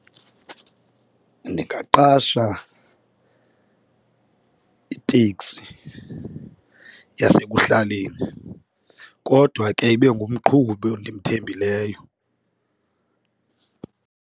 Ndingaqasha iteksi yasekuhlaleni kodwa ke ibe ngumqhubi endimthembileyo.